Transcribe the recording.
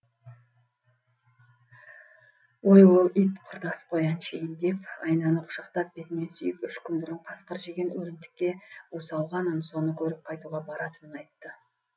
ой ол ит құрдас қой әншейін деп айнаны құшақтап бетінен сүйіп үш күн бұрын қасқыр жеген өлімтікке у салғанын соны көріп қайтуға баратынын айтты